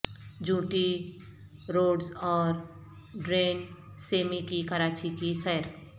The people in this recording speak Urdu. جونٹی روڈز اور ڈیرن سیمی کی کراچی کی سیر